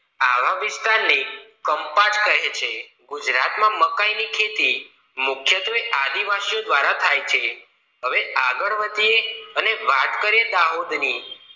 આવા વિસ્તારને કંપાટ કહે છે ગુજરાત માં મકાઇ ખેતી મુખ્યત્વે આદિવાસીઓ દ્વારા થાય છે હવે આગળ વધીએ અને વાત કરીએ દાહોદની